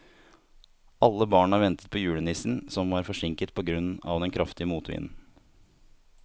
Alle barna ventet på julenissen, som var forsinket på grunn av den kraftige motvinden.